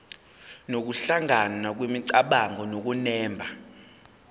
nokuhlangana kwemicabango nokunemba